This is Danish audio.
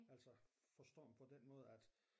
Altså forstået på den måde at